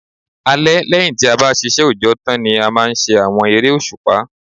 Alẹ́ lẹ́yìn tí a bá ṣiṣẹ́ òjọ́ tán ni a máa ń ṣe àwọn eré òṣùpá